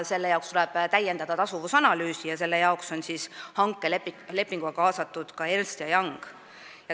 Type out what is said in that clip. Selle jaoks tuleb täiendada tasuvusanalüüsi, mille tegemisse on hankelepinguga kaasatud ka Ernst & Young.